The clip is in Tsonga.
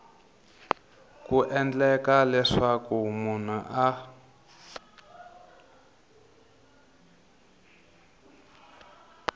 ku endlela leswaku munhu a